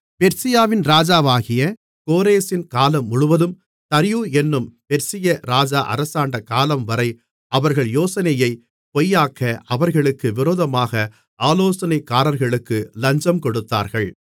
பெர்சியாவின் ராஜாவாகிய கோரேசின் காலமுழுவதும் தரியு என்னும் பெர்சியா ராஜா அரசாண்ட காலம்வரை அவர்கள் யோசனையைப் பொய்யாக்க அவர்களுக்கு விரோதமாக ஆலோசனைக்காரர்களுக்கு லஞ்சம் கொடுத்தார்கள்